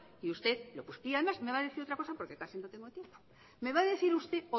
y usted y además me va a decir otra cosa porque casi no tengo tiempo me va a decir usted